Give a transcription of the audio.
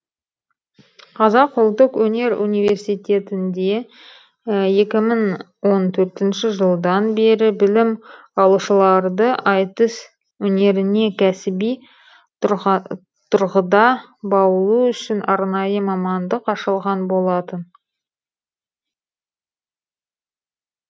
қазақ ұлттық өнер университетінде екі мың он төртінші жылдан бері білім алушыларды айтыс өнеріне кәсіби тұрғыда баулу үшін арнайы мамандық ашылған болатын